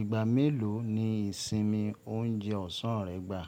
Ìgbà mélòó ni ìsinmi oúnjẹ ọ̀sán rẹ gbà?